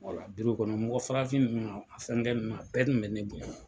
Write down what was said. Wala kɔnɔ mɔgɔ farafin ninnu a fɛnkɛ ninnu a bɛɛ kun bɛ ne bonya.